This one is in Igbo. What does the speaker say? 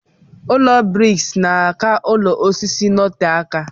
Ụlọ briks na aka ụlọ osisi notee aka.